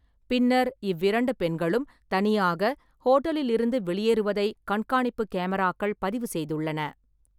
பின்னர், இவ்விரண்டு பெண்களும் தனியாக ஹோட்டலிலிருந்து வெளியேறுவதை கண்காணிப்புக் கேமராக்கள் பதிவு செய்துள்ளன.